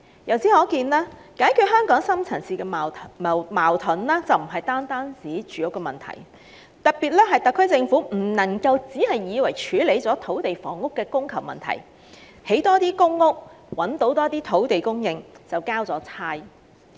由此可見，解決香港深層次矛盾並不單指解決住屋問題，故特區政府別以為藉覓得更多土地興建更多公屋以處理土地及房屋的供求問題，便可以交差了事。